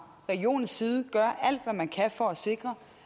regionens side gør alt hvad man kan for at sikre